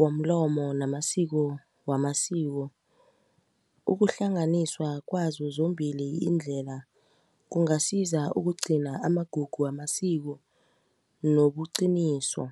womlomo namasiko wamasiko ukuhlanganiswa kwazo zombili indlela kungasiza ukugcina amagugu wamasiko nobuqiniso.